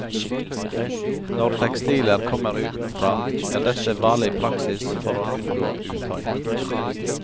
Når tekstiler kommer utenfra, er dette vanlig praksis for å unngå utøy.